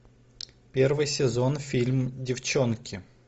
первый сезон фильм девчонки